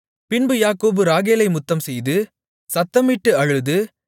பின்பு யாக்கோபு ராகேலை முத்தம்செய்து சத்தமிட்டு அழுது